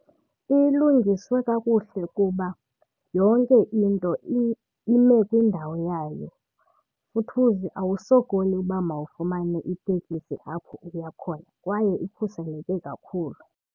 Ilungiswe kakuhle kuba yonke into ime kwindawo yayo, futhuzi awusokoli uba mawufumane itekisi apho uya khona kwaye ikhuseleke kakhulu.